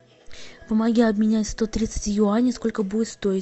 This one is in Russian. помоги обменять сто тридцать юаней сколько будет стоить